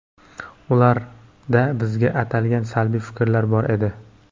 Ularda bizga atalgan salbiy fikrlar bor edi.